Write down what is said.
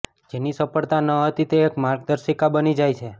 જેની સફળતા ન હતી તે એક માર્ગદર્શિકા બની જાય છે